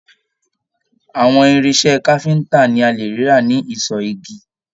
Àwọn irinṣẹ́ káfíntà ní a lè rí rà ní ìsọ igi.